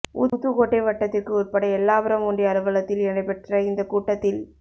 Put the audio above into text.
ஊத்துக்கோட்டை வட்டத்திற்கு உட்பட்ட எல்லாபுரம் ஒன்றிய அலுவலத்தில் நடைபெற்ற இந்தக் கூட்டத்தில்